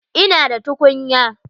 Ina da tukunya.